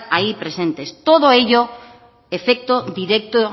ahí presentes todo ello efecto directo